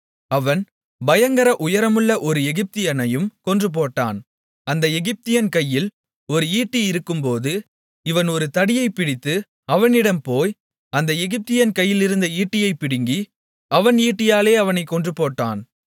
அவன் பயங்கர உயரமுள்ள ஒரு எகிப்தியனையும் கொன்றுபோட்டான் அந்த எகிப்தியன் கையில் ஒரு ஈட்டி இருக்கும்போது இவன் ஒரு தடியைப்பிடித்து அவனிடம் போய் அந்த எகிப்தியன் கையிலிருந்த ஈட்டியைப் பிடுங்கி அவன் ஈட்டியாலே அவனைக் கொன்றுபோட்டான்